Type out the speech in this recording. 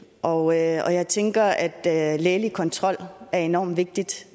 og jeg tænker at at lægelig kontrol er enormt vigtigt